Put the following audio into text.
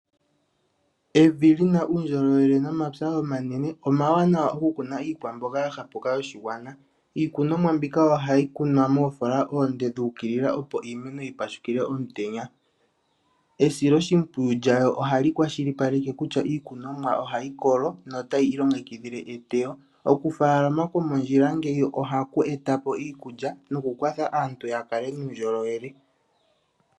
Evi lina uundjolowele nomapya omanene omawanawa oku kuna iikwamboga yoshigwana. Iikunomwa mbika ohayi kunwa moofoola oonde dhuukilila opo iimeno yi pashukile omutenya. Esilo shimpwiyu lyayo ohali kwashili paleke kutya iikunomwa ohayi kolo no tayi ilongekidhile eteyo. Okufaalama ko mondjila ngeyi ohaku etapo iikulya noku kwatha aantu ya kale nuundjolowele.